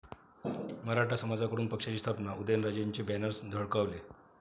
मराठा समाजाकडून पक्षाची स्थापना, उदयनराजेंचे बॅनर्स झळकावले